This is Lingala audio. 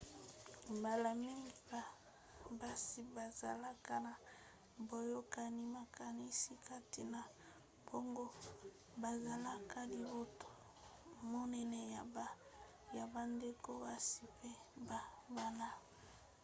mbala mingi basi bazalaka na boyokani makasi kati na bango bazalaka libota monene ya bandeko basi mpe ya bana-basi